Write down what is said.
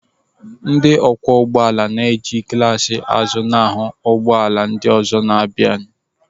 Ndị ọkwọ ụgbọala na-eji glaas azụ ahụ ụgbọala ndị ọzọ na-abịa.